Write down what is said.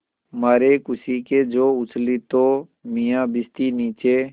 मारे खुशी के जो उछली तो मियाँ भिश्ती नीचे